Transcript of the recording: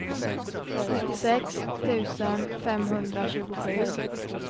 nittiosex tusen femhundratjugosju